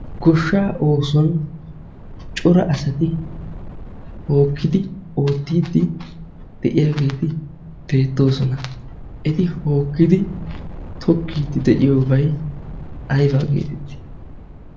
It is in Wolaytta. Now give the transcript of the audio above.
goshshaa oosuwan cora asati hookkidi oottiiddi de'iyaageeti deettoosona. eti hookkidi tokkiiddi de'iyoobay ayba geetetti?